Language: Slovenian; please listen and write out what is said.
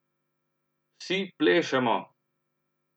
Vsi plešemo!